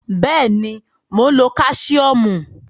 Bẹ́ẹ̀ ni, mò ń lo Káṣíọ́mù.